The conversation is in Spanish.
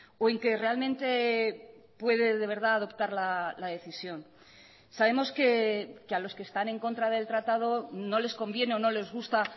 o en que realmente puede de verdad adoptar la decisión sabemos que a los que están en contra del tratado no les conviene o no les gusta